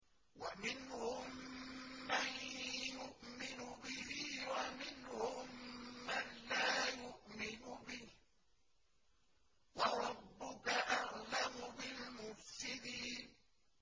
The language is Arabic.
وَمِنْهُم مَّن يُؤْمِنُ بِهِ وَمِنْهُم مَّن لَّا يُؤْمِنُ بِهِ ۚ وَرَبُّكَ أَعْلَمُ بِالْمُفْسِدِينَ